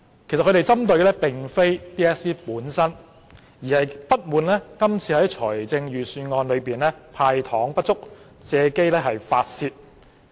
其實他們針對的並非 DSE 本身，而是不滿今次預算案"派糖"不足，借機發泄。